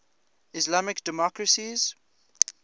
islamic democracies